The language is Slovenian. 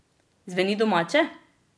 Zveni domače?